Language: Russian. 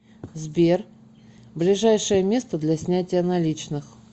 сбер ближайшее место для снятия наличных